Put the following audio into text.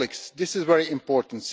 This is very important.